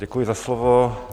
Děkuji za slovo.